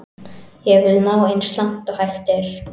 Ég vil ná eins langt og hægt er.